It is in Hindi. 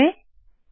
सेव करे